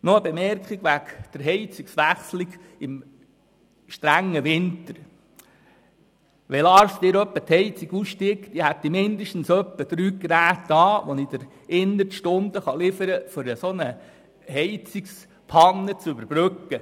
Noch eine Bemerkung zum Heizungswechsel im strengen Winter: Wenn Lars Guggisberg einmal die Heizung aussteigt, hätte ich mindestens drei Geräte, die ich Ihnen innerhalb von Stunden liefern könnte, um eine solche Heizungspanne zu überbrücken.